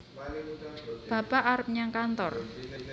bapak arep nyang kantor